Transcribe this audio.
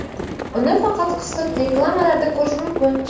Uni faqat qisqa reklamalarda ko‘rish mumkin.